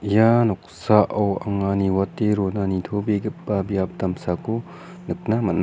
ia noksao anga niwate rona nitobegipa biap damsako nikna man·a.